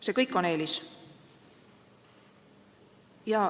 See kõik on eelis.